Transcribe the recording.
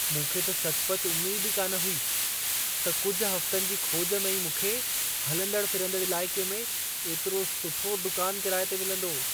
मूंखे त सचुपचु उमेद ई कान हुई, त कुझु हफ़्तनि जी खोज में ई मूंखे हलंदड़ फिरंदड़ इलाइक़े में एतिरो सुठो दुकान किराए ते मिलंदो।